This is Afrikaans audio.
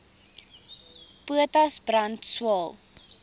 potas brand swael